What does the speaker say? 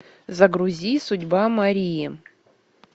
загрузи судьба марии